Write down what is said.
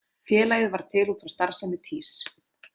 Félagið varð til út frá starfsemi Týs.